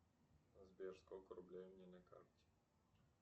сбер сколько рублей у меня на карте